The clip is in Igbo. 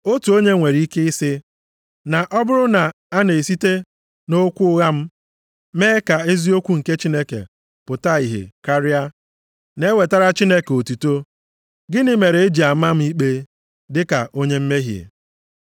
Otu onye nwere ike ị sị, “na ọ bụrụ na a na-esite nʼokwu ụgha m, mee ka eziokwu nke Chineke pụta ìhè karịa, na-ewetara Chineke otuto, gịnị mere e ji ama m ikpe dịka onye mmehie?”